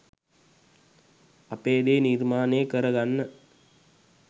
අපේ දේ නිර්මාණය කර ගන්න